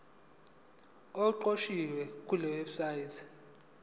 okuqukethwe kule website